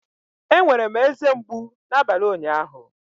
Enwere m eze mgbu n'abalị ụnyaahụ